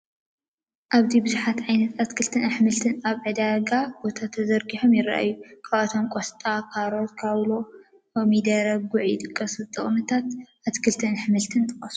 ኣብዚ ብዙሓት ዓይነት ኣትልክልትን ኣሕምልትን ኣብ ናይ ዕዳጋ ቦታ ተዘርጊሖም ይራኣዩ፡፡ ካብዚኦም ቆስጣ፣ ካሮት፣ ካውሎ፣ ኮሚደረን ጉዕ ይጥቀሱ፡፡ ጥቕምታት ኣትክልትን ኣሕምልትን ጥቐሱ፡፡